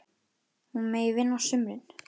Hún megi vinna á sumrin.